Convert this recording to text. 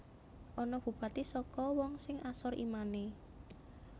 Ana Bupati saka wong sing asor imane